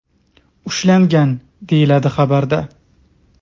ushlangan”, deyiladi xabarda.